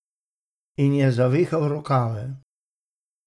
In je zavihal rokave.